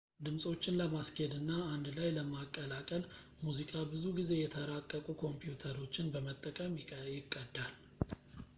ድምፆችን ለማስኬድ እና አንድ ላይ ለማቀላቀል ሙዚቃ ብዙ ጊዜ የተራቀቁ ኮምፒውተሮችን በመጠቀም ይቀዳል